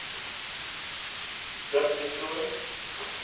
dirk du toit